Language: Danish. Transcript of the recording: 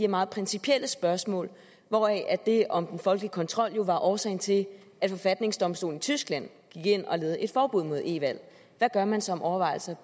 meget principielle spørgsmål hvoraf det om den folkelige kontrol jo var årsagen til at forfatningsdomstolen i tyskland gik ind og lavede et forbud mod e valg hvad gør man sig af overvejelser